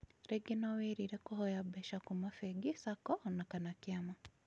Rĩngĩ no wirĩrie kũhoya mbeca kuma bengi, sacco ona kana kĩama